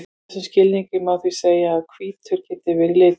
í þessum skilningi má því segja að hvítur geti verið litur